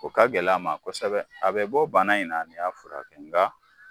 O ka gɛlɛ a ma kosɛbɛ, a bɛ bɔ bana in na n'i y'a furakɛ nka